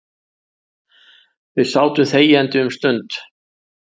Við sátum þegjandi um stund.